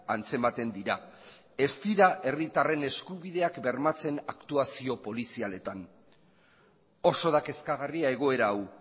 antzematen dira ez dira herritarren eskubideak bermatzen aktuazio polizialetan oso da kezkagarria egoera hau